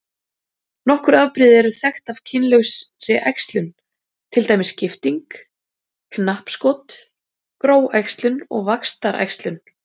Nokkur afbrigði eru þekkt af kynlausri æxlun til dæmis skipting, knappskot, gróæxlun og vaxtaræxlun.